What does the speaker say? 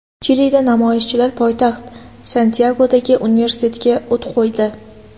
Chilida namoyishchilar poytaxt Santyagodagi universitetga o‘t qo‘ydi .